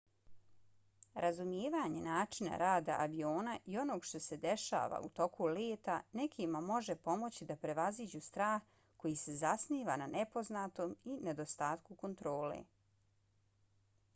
razumijevanje načina rada aviona i onoga što se dešava u toku leta nekima može pomoći da prevaziđu strah koji se zasniva na nepoznatom i nedostatku kontrole